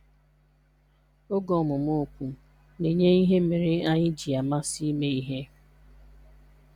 Oge ọmụmụ okwu na-enye ihe mere anyị ji amasị ime ihe.